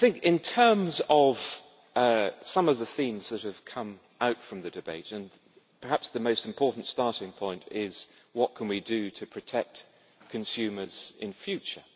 In terms of some of the themes that have come out from the debate, perhaps the most important starting point is what can we do to protect consumers in future?